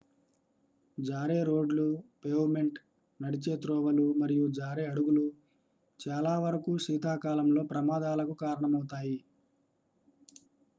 జారే రోడ్లు పేవ్మెంట్లు నడిచే త్రోవలు మరియు జారే అడుగులు చాలావరకూ శీతాకాలంలో ప్రమాదాలకు కారణమవుతాయి